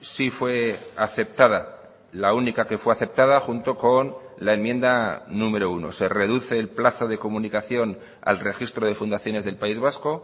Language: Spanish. sí fue aceptada la única que fue aceptada junto con la enmienda número uno se reduce el plazo de comunicación al registro de fundaciones del país vasco